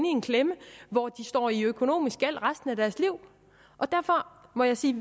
i en klemme hvor de står i økonomisk gæld resten af deres liv derfor må jeg sige